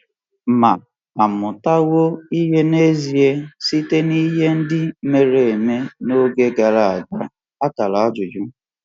Ma à mụtawo ihe n’ezie site n’ihe ndị mere n’oge gara aga?